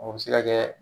O bɛ se ka kɛ